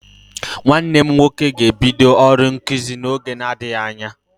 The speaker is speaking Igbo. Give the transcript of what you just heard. Nwanne m nwoke ga-ebido ọrụ nkụzi n'oge na-adịghị anya.